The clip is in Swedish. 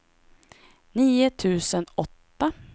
nio tusen åtta